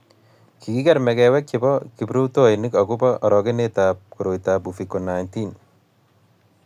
kikier mekewek chebo kiprutoinik akobo orokenetab koroitab uviko19